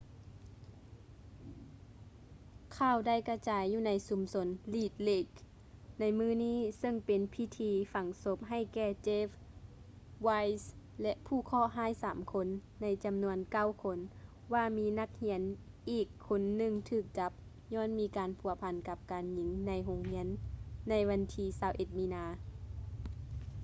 ຂ່າວໄດ້ກະຈາຍຢູ່ໃນຊຸມຊົນ red lake ໃນມື້ນີ້ ເຊິ່ງເປັນພິທີຝັງສົບໃຫ້ແກ່ jeff weise ແລະ ຜູ້ເຄາະຮ້າຍສາມຄົນໃນຈຳນວນເກົ້າຄົນ ວ່າມີນັກຮຽນອີກຄົນໜຶ່ງຖືກຈັບຍ້ອນມີການພົວພັນກັບການຍິງໃນໂຮງຮຽນໃນວັນທີ 21 ມີນາ